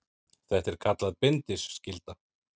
Þetta er kallað bindiskylda.